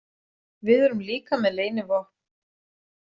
Við erum líka með leynivopn.